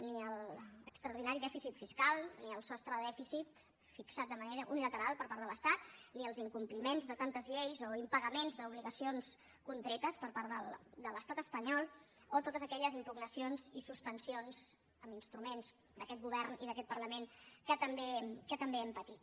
ni a l’extraordinari dèficit fiscal ni al sostre de dèficit fixat de manera unilateral per part de l’estat ni als incompliments de tantes lleis o impagaments d’obligacions contretes per part de l’estat espanyol o a totes aquelles impugnacions i suspensions d’instruments d’aquest govern i d’aquest parlament que també hem patit